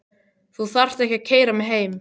Þú þarft ekkert að keyra mig heim.